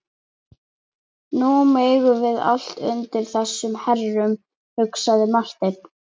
Nú eigum við allt undir þessum herrum, hugsaði Marteinn.